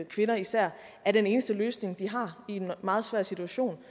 kvinder især er den eneste løsning de har i en meget svær situation